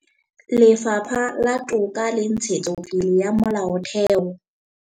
Lefapha la Toka le Ntshetsopele ya Molaotheo